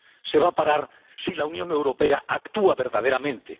Se va a parar si la Unión Europea actúa verdaderamente.